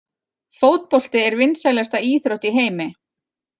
Fótbolti er vinsælasta íþrótt í heimi.